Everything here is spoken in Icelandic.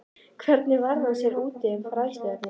Hvernig varð hann sér úti um fræðsluefnið?